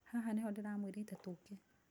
Haha nĩ ho ndĩramwĩrĩte tũke